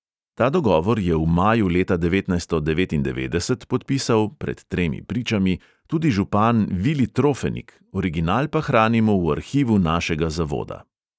Ta dogovor je v maju leta devetnajststo devetindevetdeset podpisal (pred tremi pričami) tudi župan vili trofenik, original pa hranimo v arhivu našega zavoda.